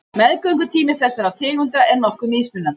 Meðgöngutími þessara tegunda er nokkuð mismunandi.